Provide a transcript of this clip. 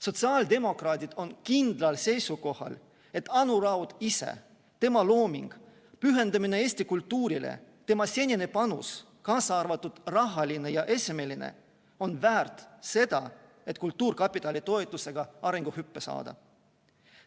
Sotsiaaldemokraadid on kindlal seisukohal, et Anu Raud ise, tema looming, pühendumine Eesti kultuurile, tema senine panus, kaasa arvatud rahaline ja esemeline, on väärt seda, et kultuurkapitali toetusega arenguhüpe saada.